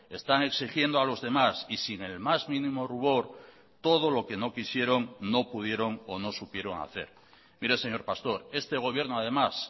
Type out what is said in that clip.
están exigiendo a los demás y sin el más mínimo rubor todo lo que no quisieron no pudieron o no supieron hacer mire señor pastor este gobierno además